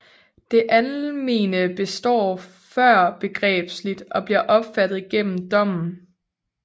Det almene består førbegrebsligt og bliver opfattet gennem dommen